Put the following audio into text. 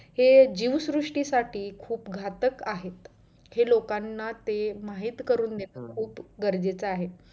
हे जीवश्रुष्टी साठी खूप घातक आहेत हे लोकांना ते माहित करून घेणं गरजेचं आहे.